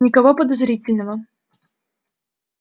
никого подозрительного